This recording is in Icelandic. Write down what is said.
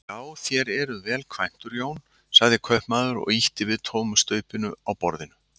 Já, þér eruð vel kvæntur Jón, sagði kaupmaður og ýtti við tómu staupinu á borðinu.